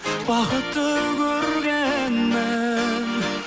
бақытты көргенмін